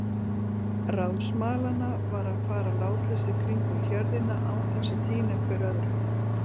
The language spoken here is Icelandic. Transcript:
Ráð smalanna var að fara látlaust í kringum hjörðina án þess að týna hver öðrum.